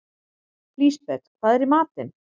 Lisbeth, hvað er í matinn?